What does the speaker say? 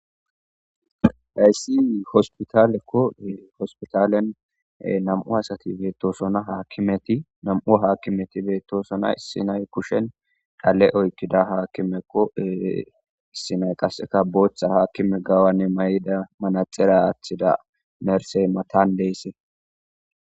hayssii hospitalekkoee hospitalen nam7u asati beettosona himeti nam7u haakkimeti beettosona issinay kushen dhale oykkida haakkimekko issinay qasseka booththa haakkime gawanne may7ida manaxera aaththida nersey matan deysse